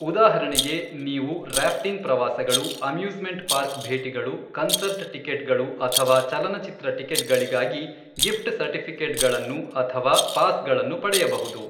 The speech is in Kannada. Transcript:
ಉದಾಹರಣೆಗೆ, ನೀವು ರ್ಯಾಫ್ಟಿಂಗ್ ಪ್ರವಾಸಗಳು, ಅಮ್ಯೂಸ್ಮೆಂಟ್ ಪಾರ್ಕ್ ಭೇಟಿಗಳು, ಕನ್ಸರ್ಟ್ ಟಿಕೆಟ್ಗಳು ಅಥವಾ ಚಲನಚಿತ್ರ ಟಿಕೆಟ್ಗಳಿಗಾಗಿ ಗಿಫ್ಟ್ ಸರ್ಟಿಫಿಕೇಟ್ಸ್ಗಳನ್ನು ಅಥವಾ ಪಾಸ್ಗಳನ್ನು ಪಡೆಯಬಹುದು.